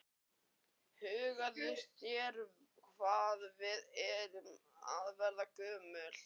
Hugsaðu þér hvað við erum að verða gömul.